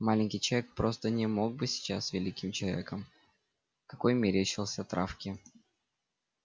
маленький человек просто не мог быть сейчас великим человеком какой мерещился травке